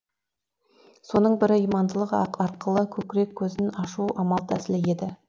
соның бірі имандылық арқылы көкірек көзін ашу амал тәсілі еді